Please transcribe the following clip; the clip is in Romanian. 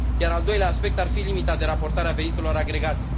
iar al doilea aspect ar fi limita de raportare a veniturilor agregate.